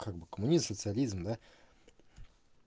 как бы коммунизм социализм да